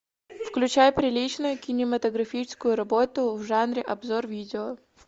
включай приличную кинематографическую работу в жанре обзор видео